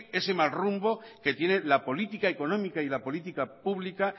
ese mal rumbo que tiene la política económica y la política pública